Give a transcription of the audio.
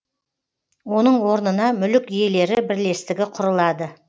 оның орнына мүлік иелері бірлестігі құрылады